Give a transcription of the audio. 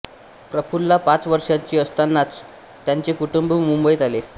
प्रफुल्ला पाच वर्षांची असतानाच त्यांचे कुटुंब मुंबईत आले